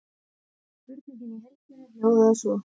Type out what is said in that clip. Spurningin í heild sinni hljóðaði svo: